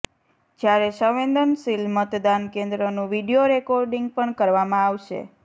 જ્યારે સંવેદનસીલ મતદાન કેન્દ્રનું વીડિયો રેકોર્ડિંગ પણ કરવામાં આવશે